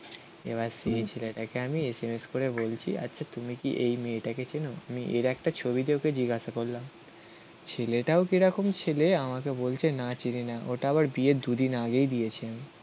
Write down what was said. এবার সেই ছেলেটাকে আমি এসএমএস করে বলছি. আচ্ছা তুমি কি এই মেয়েটাকে চেনো? আমি এর একটা ছবিতে ওকে জিজ্ঞাসা করলাম. ছেলেটাও কিরকম ছেলে? আমাকে বলছে না চিনি না. ওটা আবার বিয়ের দুদিন আগেই দিয়েছি আমি